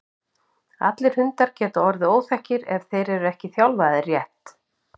allir hundar geta orðið óþekkir ef þeir eru ekki þjálfaðir rétt